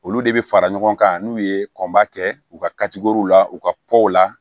Olu de bɛ fara ɲɔgɔn kan n'u ye kɔnba kɛ u ka jogow la u ka la